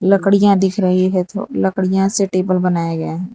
लकड़ियां दिख रही है तो लकड़ियां से टेबल बनाया गया है।